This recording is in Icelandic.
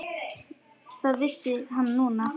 Það vissi hann núna.